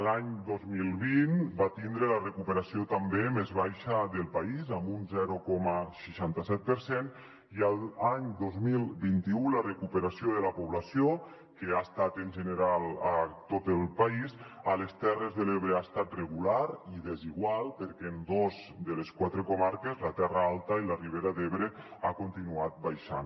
l’any dos mil vint va tindre la recuperació també més baixa del país amb un zero coma seixanta set per cent i l’any dos mil vint u la recuperació de la població que ha estat general a tot el país a les terres de l’ebre ha estat regular i desigual perquè en dos de les quatre comarques la terra alta i la ribera d’ebre ha continuat baixant